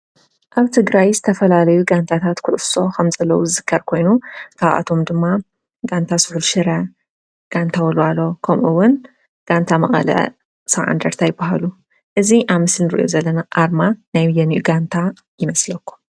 ኣብ ትግራይ ዝተፈላለዩ ጋንታት ኩዕሶ ከም ዘለው ዝዝከር ኮይኑ ካብኣቶም ድማ ጋንታ ስሑል ሽረ፣ ጋንታ ወልዋሎ ፣ጋንታ መቐለ ሰብዓ እንደርታ ይበሃሉ። እዚ ኣብ ምስሊ እንሪኦ ዘለና ኣርማ ናይ አየንኡ ጋንታ ይመስለኩም?